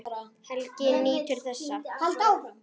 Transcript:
Helgi nýtur þess.